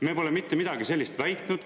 Me pole mitte midagi sellist väitnud.